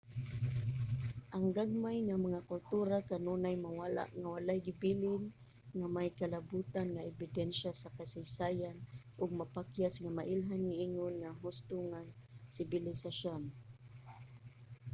ang gagmay nga mga kultura kanunay mawala nga walay gibilin nga may kalabotan nga ebidensya sa kasaysayan ug mapakyas nga mailhan ingon mga husto nga sibilisasyon